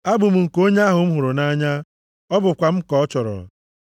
Abụ m nke onye ahụ m hụrụ nʼanya, ọ bụkwa m ka ọ chọrọ.